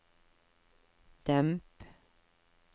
demp